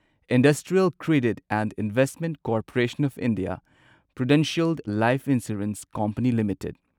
industrial Credit and Investment Corporation of India Prudential Life Insurance Company limited